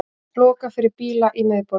Lokað fyrir bíla í miðborginni